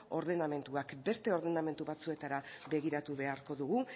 ordenamenduak beste ordenamendu batzuetara begiratu beharko dugu